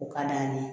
U ka d'an ye